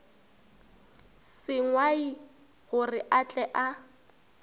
sengwai gore a tle a